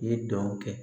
I ye dɔn kɛ